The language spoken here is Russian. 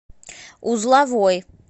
узловой